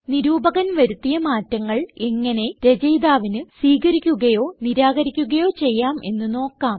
നിരൂപകൻ വരുത്തിയ മാറ്റങ്ങൾ എങ്ങനെ രചയിതാവിന് സ്വീകരിക്കുകയോ നിരാകരിക്കുകയോ ചെയ്യാം എന്ന് നോക്കാം